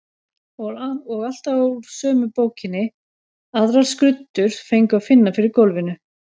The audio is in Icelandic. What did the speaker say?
Og alltaf úr sömu bókinni, aðrar skruddur fengu að finna fyrir gólfinu.